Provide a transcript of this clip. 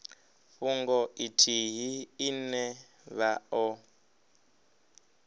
fhungo ithihi ine vha o